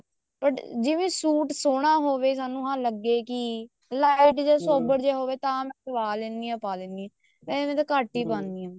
but ਜਿਵੇਂ suit ਸੋਹਣਾ ਹੋਵੇ ਤੇ ਸਾਨੂੰ ਲੱਗੇ ਕੀ light ਜਾ ਸੋਬਰ ਜਾ ਹੋਵੇ ਤਨ ਮੈਂ ਸਵਾ ਲੈਂਦੀ ਹਾਂ ਪਾ ਲੈਂਦੀ ਹਾਂ ਨਹੀਂ ਤਾਂ ਘੱਟ ਹੀ ਪਾਉਣੀ ਹਾਂ